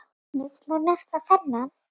Til dæmis má nefna þennan